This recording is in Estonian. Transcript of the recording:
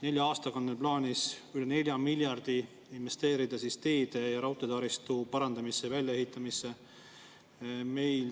Nelja aastaga on neil plaanis investeerida üle 4 miljardi teede ja raudteetaristu parandamisse ja väljaehitamisse.